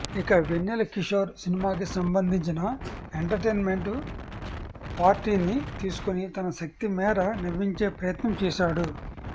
ఇక వెన్నెల కిశోర్ సినిమాకి సంబంధించిన ఎంటర్టైన్మెంట్ పార్ట్ని తీసుకొని తన శక్తి మేర నవ్వించే ప్రయత్నం చేశాడు